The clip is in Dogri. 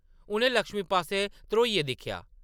उʼनें लक्ष्मी पास्सै ध्रोइयै दिक्खेआ ।